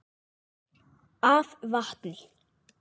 af vatni.